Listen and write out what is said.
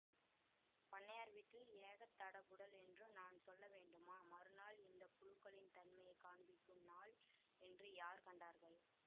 பண்ணையார் வீட்டில் ஏகத் தடபுடல் என்று நான் சொல்ல வேண்டுமா மறுநாள் இந்த புழுக்களின் தன்மையை காண்பிக்கும் நாள் என்று யார் கண்டார்கள்